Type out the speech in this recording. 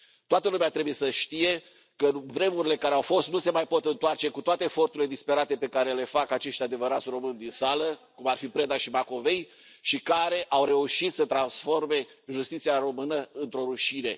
Toată lumea trebuie să știe că vremurile care au fost nu se mai pot întoarce, cu toate eforturile disperate pe care le fac acești români adevărați din sală, cum ar fi Preda și Macovei, și care au reușit să transforme justiția română într o rușine.